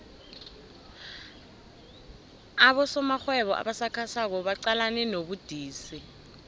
abosomarhwebo abasakhasako baqalene nobudisi